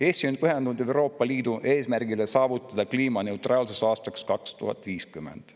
Eesti on pühendunud Euroopa Liidu eesmärgile saavutada kliimaneutraalsus aastaks 2050.